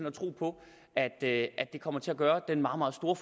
at tro på at det kommer til at gøre den meget meget store